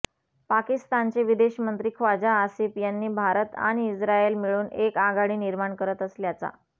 पाकिस्तानचे विदेश मंत्री ख्वाजा आसिफ यांनी भारत आणि इस्रायल मिळून एक आघाडी निर्माण करत असल्याचा